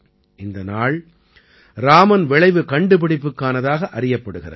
இந்த நாள் ராமன் விளைவு கண்டுபிடிப்புக்கானதாக அறியப்படுகிறது